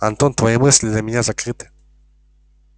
антон твои мысли для меня закрыты